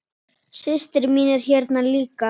Systir mín er hérna líka.